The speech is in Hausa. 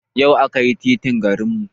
Yau aka yi titin garin mu